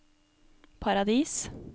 Paradis